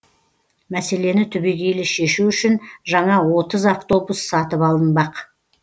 мәселені түбегейлі шешу үшін жаңа отыз автобус сатып алынбақ